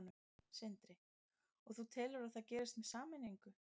Sindri: Og þú telur að það gerist með sameiningu?